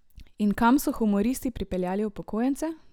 In kam so humoristi pripeljali upokojence?